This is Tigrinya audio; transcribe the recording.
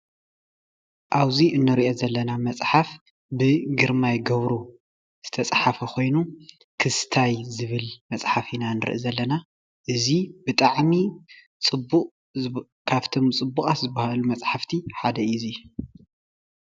ኣብዚ ንሪኦ ዘለና መፅሓፍ ብ ግርማይ ገብሩ ዝተፅሓፈ ኮይኑ ክስታይ ዝብል መፅሓፍ ኢና ንርኢ ዘለና እዚ ብጣዕሚ ፅቡቕ ካብቶም ፅቡቓት ዝበሃሉ መፃሕፍቲ ሓደ እዪ ።